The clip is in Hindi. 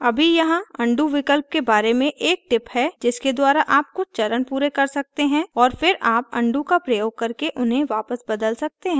अभी यहाँ undo विकल्प के बारे में एक tip है जिसके द्वारा आप कुछ चरण पूरे कर सकते हैं और फिर आप undo का प्रयोग करके उन्हें वापस बदल सकते हैं